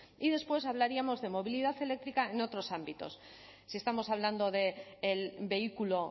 y después hablaríamos de movilidad eléctrica en otros ámbitos si estamos hablando del vehículo